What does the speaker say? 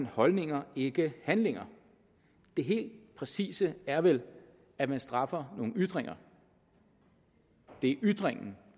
holdninger ikke handlinger det helt præcise er vel at man straffer nogle ytringer det er ytringen